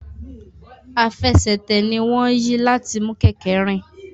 Àfẹsẹ̀tẹ̀ ní wón yí láti mú kéké rìn.